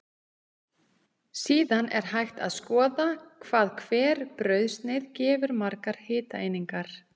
Síðan er hægt að skoða hvað hver brauðsneið gefur margar hitaeiningar.